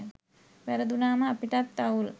වැරදුනාම අපිටත් අවුල්